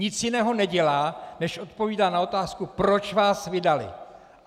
Nic jiného nedělá, než odpovídá na otázku, proč vás vydali.